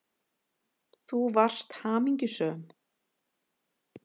Þú varst hamingjusöm.